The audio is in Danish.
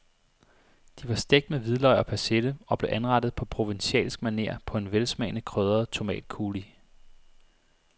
De var stegt med hvidløg og persille og blev anrettet på provencalsk maner på en velsmagende krydret tomatcoulis.